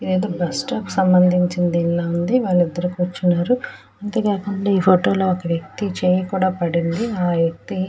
ఇదైతే bus stop సంభందించిన దీని లా ఉంది వాళ్లిద్దరూ కూర్చున్నారు అంతే కాకుండా ఈ ఫోటో లో ఒక వ్యక్తి చెయ్యి కూడా పడింది ఆ వ్యక్తి --